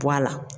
Bɔ a la